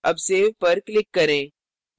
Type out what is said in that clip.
अब save पर click करें